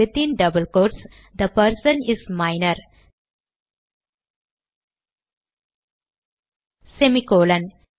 within double quotes the person is minor semi colon